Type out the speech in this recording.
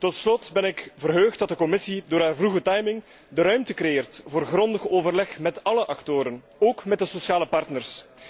Tot slot ben ik verheugd dat de Commissie door haar vroege timing de ruimte creëert voor grondig overleg met alle actoren, ook met de sociale partners.